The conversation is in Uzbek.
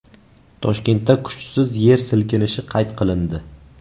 Toshkentda kuchsiz yer silkinishi qayd qilindi.